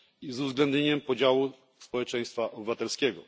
z uwzględnieniem udziału społeczeństwa obywatelskiego.